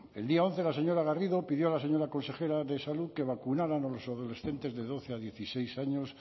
el día once la señora garrido pidió a la señora consejera de salud que vacunaran a los adolescentes de doce a dieciséis años